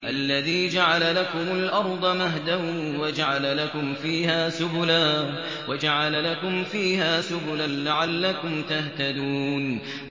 الَّذِي جَعَلَ لَكُمُ الْأَرْضَ مَهْدًا وَجَعَلَ لَكُمْ فِيهَا سُبُلًا لَّعَلَّكُمْ تَهْتَدُونَ